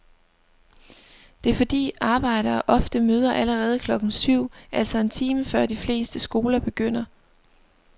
Det er fordi arbejdere ofte møder allerede klokken syv, altså en time før de fleste skoler begynder.